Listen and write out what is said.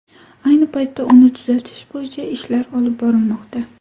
Ayni paytda uni tuzatish bo‘yicha ishlar olib borilmoqda.